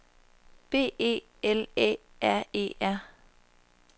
B E L Æ R E R